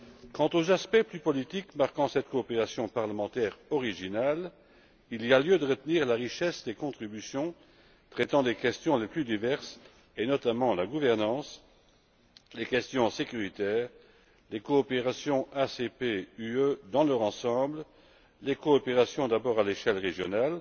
Quant aux aspects plus politiques marquant cette coopération parlementaire originale, il y a lieu de retenir la richesse des contributions traitant des questions les plus diverses, notamment la gouvernance, les questions de sécurité et les coopérations ACP UE dans leur ensemble, à savoir les coopérations d'abord à l'échelle régionale,